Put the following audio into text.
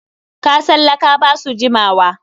Kasan laka ba su jimawa.